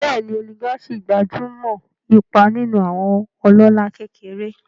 Bẹ́ẹ̀ni, oligarchy gbájú mọ́ ipa nínú àwọn ọlọ́lá kékeré.